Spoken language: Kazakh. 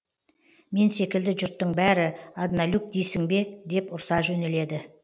мен секілді жұрттың бәрі одналюб дейсің бе деп ұрса жөнеледі